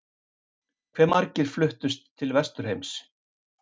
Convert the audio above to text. Hve margir fluttust til Vesturheims?